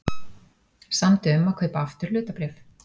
Samdi um að kaupa aftur hlutabréf